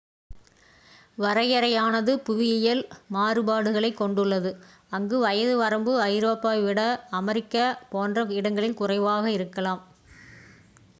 வரையறையானது புவியியல் மாறுபாடுகளைக் கொண்டுள்ளது அங்கு வயது வரம்பு ஐரோப்பாவை விட வட அமெரிக்கா போன்ற இடங்களில் குறைவாக இருக்கலாம்